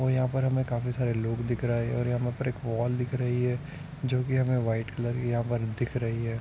और यहाँ पर हमे काफी सारे लोग दिखाई दे रहे हैं और यहाँ पर हमे एक वाल दिख रही हैं जो की हमे वाइट कलर की हमे दिख रही हैं।